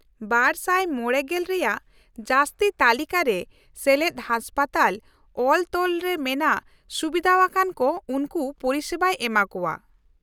-᱒᱕᱐ᱼᱨᱮᱭᱟᱜ ᱡᱟᱹᱥᱛᱤ ᱛᱟᱹᱞᱤᱠᱟ ᱨᱮ ᱥᱮᱞᱮᱫ ᱦᱟᱥᱯᱟᱛᱟᱞ ᱚᱞᱼᱛᱚᱞ ᱨᱮ ᱢᱮᱱᱟᱜ ᱥᱩᱵᱤᱫᱷᱟᱣᱟᱱ ᱠᱚ ᱩᱱᱠᱩ ᱯᱚᱨᱤᱥᱮᱵᱟᱭ ᱮᱢᱟᱠᱚᱣᱟ ᱾